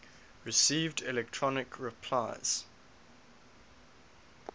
received electronic replies